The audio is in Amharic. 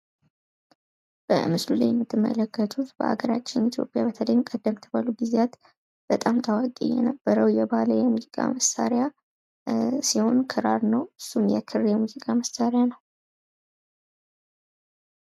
የጥበብ ትምህርትና ስልጠና ግለሰቦች የፈጠራ ችሎታቸውን እንዲያዳብሩና ለባህል ዕድገት አስተዋጽኦ እንዲያደርጉ ያበረታታል።